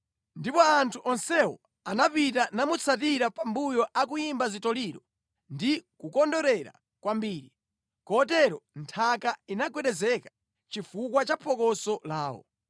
Ndipo anthu onsewo anapita namutsatira pambuyo akuyimba zitoliro ndi kukondwerera kwambiri, kotero nthaka inagwedezeka chifukwa cha phokoso lawo.